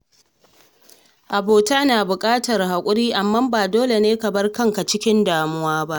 Abota na buƙatar haƙuri, amma ba dole ne ka bar kanka cikin damuwa ba.